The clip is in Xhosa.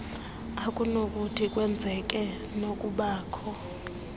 okunokuthi kwenzeke nokubakho